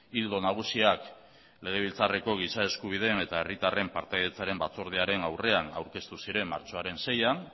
ildo nagusiak legebiltzarreko giza eskubideen eta herritarren partaidetzaren batzordearen aurrean aurkeztu ziren martxoaren seian